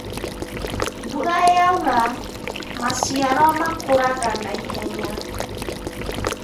mbura yaura, mciaro makuraga naihenya